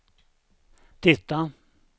titta